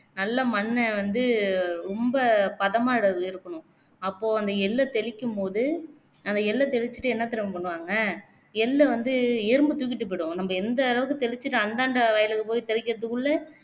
நல்ல மண்ண வந்து ரொம்ப பதமா அப்போ அந்த எள்ள தெளிக்கும்போது அந்த தெளிச்சுட்டு என்ன தெரியுமா பண்ணுவாங்க எள்ள வந்து எறும்பு தூக்கிட்டு போயிடும் நம்ப எந்த அளவுக்கு தெளிச்சுட்டு அந்தாண்ட வயலுக்கு போய் தெளிக்கிறதுக்குல்ல